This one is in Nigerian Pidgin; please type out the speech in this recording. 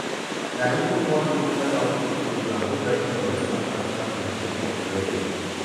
na even one local outreach program wey help me understand partner communication well well